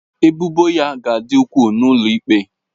Ebubo ya ga-adị ukwuu n'ụlọ ikpe